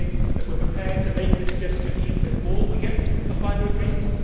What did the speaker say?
Are we saying that we are prepared to make this gesture even before we get a final agreement?